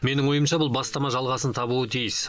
менің ойымша бұл бастама жалғасын табуы тиіс